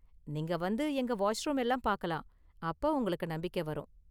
நீங்க வந்து எங்க வாஷ்ரூம் எல்லாம் பார்க்கலாம். அப்ப உங்களுக்கு நம்பிக்கை வரும்.